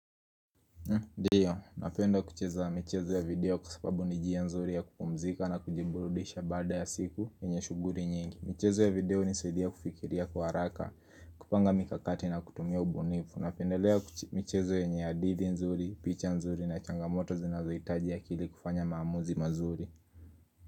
Ndiyo, napenda kucheza michezo ya video kwa sababu ni njia nzuri ya kupumzika na kujiburudisha baada ya siku yenye shughuli nyingi. Michezo ya video hunisaidia kufikiria kwa haraka, kupanga mikakati na kutumia ubunifu. Napendelea michezo yenye hadithi nzuri, picha nzuri na changamoto zinazohitaji akili kufanya maamuzi mazuri.